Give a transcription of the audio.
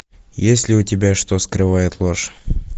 есть ли у тебя что скрывает ложь